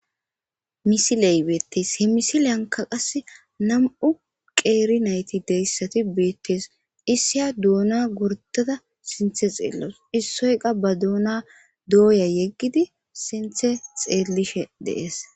Misile betees he misiliyan nam,u qeri nayiti dee,s betees isina dona gordada sintha xelawus isoyi qa badona doya yegidi sinthe xelishe dee, es